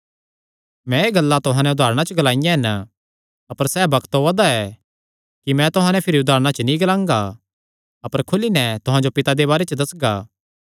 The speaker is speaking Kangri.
मैं एह़ गल्लां तुहां नैं उदारणा च ग्लाईयां हन अपर सैह़ बग्त ओआ दा ऐ कि मैं तुहां नैं भिरी उदारणा च नीं ग्लांगा अपर खुली नैं तुहां जो पिता दे बारे च दस्सगा